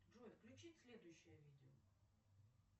джой включи следующее видео